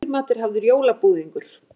Í eftirmat er hafður jólabúðingur.